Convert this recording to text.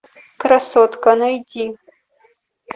красотка найди